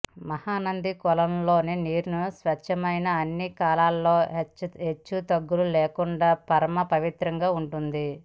మహానంది కొలను లోని నీరు స్వచ్ఛమై అన్ని కాలాలలో హెచ్చుతగ్గులు లేకుంటా పరమ పవిత్రంగా ఉంటుంది